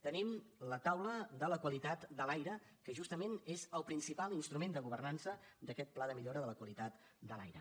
tenim la taula de la qualitat de l’aire que justament és el principal instrument de governança d’aquest pla de millora de la qualitat de l’aire